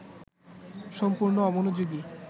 সম্পূর্ণ অমনোযোগী